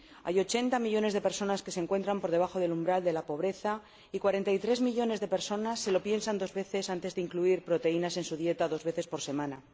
Hay ochenta millones de personas que se encuentran por debajo del umbral de la pobreza y 43 millones de personas se lo piensan dos veces antes de incluir proteínas en su dieta dos veces por semana.